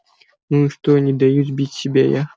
ну и что не даю сбить себя я